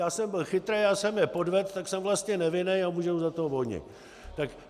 Já jsem byl chytrej, já jsem je podved, tak jsem vlastně nevinnej a můžou za to voni.